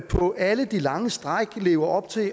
på alle de lange stræk lever op til